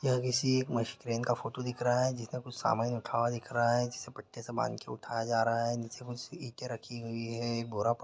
यह किसी एक मशीन का फोटो दिख रहा हैजिसका कुछ सामान उठा हुआ दिख रहा है जिसे पट्टी से बांध के उठाया जा रहा है नीचे कुछ ईटें रखी हुई है एक बोरा पर---